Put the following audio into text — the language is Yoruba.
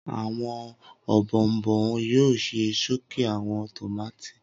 Awọn òbòònbọòn yoo jẹ soke awọn tomati